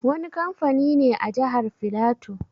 Wani kamfani ne a Jahar Filato.